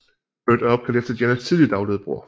Burt er opkaldt efter Jenners tidligt afdøde bror